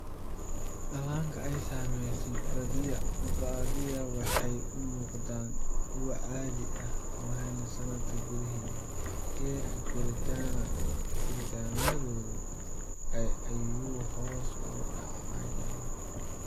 Dhallaanka ay saamaysay badiyaa waxay u muuqdaan kuwo caadi ah laakiin sannad gudaheed, heerka koriimadoodu aad ayuu hoos ugu dhacayaa.